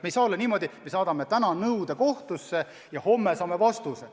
Ei saa olla niimoodi, et me saadame täna nõude kohtusse ja homme saame vastuse.